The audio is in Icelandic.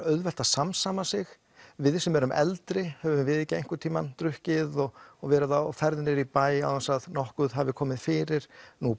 auðvelt að samsama sig við sem erum eldri höfum við ekki einhvern tímann drukkið og og verið á ferð niðri í bæ án þess að nokkuð hafi komið fyrir